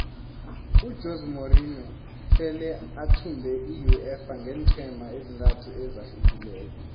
ujose morinho sele athumbe iuefa ngeenqhema ezintathu ezahlukeneko